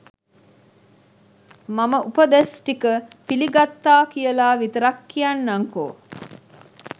මම උපදෙස් ටික පිළිගත්තා කියලා විතරක් කියන්නංකෝ